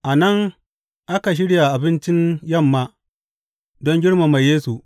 A nan aka shirya abincin yamma don girmama Yesu.